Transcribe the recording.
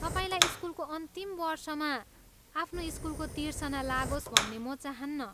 तपाईँलाई स्कुलको अन्तिम वर्षमा आफ्नो स्कुलको तिर्सना लागोस् भन्ने म चाहन्नँ।